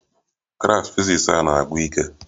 Klas fiziks a na-agwụ ike